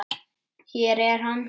Hér er hann.